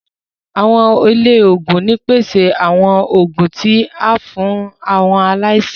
Awọn ilé oògùn n pèsè àwon oògùn tí a fún awọn aláìsàn.